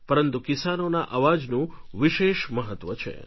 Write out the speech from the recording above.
પરંતુ કિસાનોના અવાજનું વિશેષ મહત્વ છે